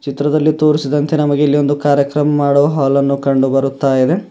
ಈ ಚಿತ್ರದಲ್ಲಿ ತೋರಿಸಿದಂತೆ ನಮಗೆ ಇಲ್ಲಿ ಒಂದು ಕಾರ್ಯಕ್ರಮ ಮಾಡುವ ಹಾಲ ಅನ್ನು ಕಂಡು ಬರುತ್ತದೆ.